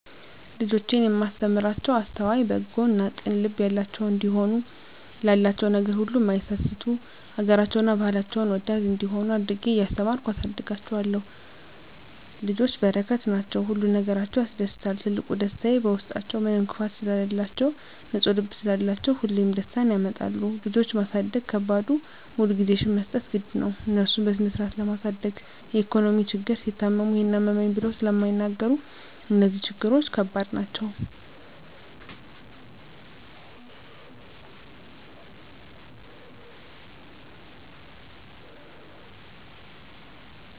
ልጆቼን እማስተምራቸዉ አስተዋይ፣ በጎ እና ቅን ልብ ያላቸዉ እንዲሆኑ፣ ላላቸዉ ነገር ሁሉ እማይሳስቱ፣ ሀገራቸዉን እና ባህላቸዉን ወዳድ እንዲሆነ አድርጌ እያስተማርኩ አሳድጋቸዋለሁ። ልጆች በረከት ናቸዉ። ሁሉ ነገራቸዉ ያስደስታል ትልቁ ደስታየ በዉስጣችዉ ምንም ክፋት ስለላቸዉ፣ ንፁ ልብ ስላላቸዉ ሁሌም ደስታን ያመጣሉ። ልጆች ማሳደግ ከባዱ ሙሉ ጊዜሽን መስጠት ግድ ነዉ፣ እነሱን በስነስርአት ለማሳደግ የኢኮኖሚ ችግር፣ ሲታመሙ ይሄን አመመኝ ብለዉ ስለማይናገሩ እነዚህ ነገሮች ከባድ ናቸዉ።